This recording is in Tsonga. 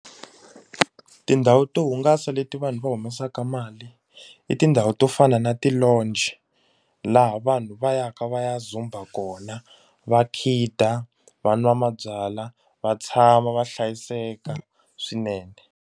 Tindhawu to hungasa leti vanhu va humesaka mali i tindhawu to fana na ti-lounge laha vanhu va yaka va ya dzumba kona va khida va nwa mabyalwa va tshama va hlayiseka swinene.